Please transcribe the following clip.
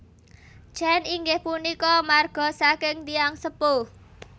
Chen inggih punika marga saking tiyang sepuh